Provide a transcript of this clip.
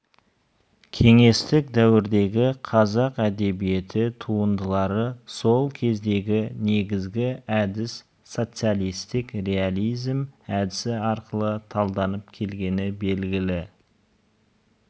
кеңестік дәуірдегі қазақ әдебиеті туындылары сол кездегі негізгі әдіс социалистиік реализм әдісі арқылы талданып келгені белгілі